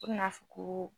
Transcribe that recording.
O bɛna fɔ ko